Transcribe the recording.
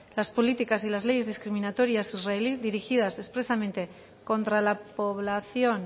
las políticas y las leyes discriminatorias israelís dirigidas expresamente contra la población